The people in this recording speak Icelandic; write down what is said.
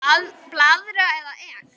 Blaðra eða Ek?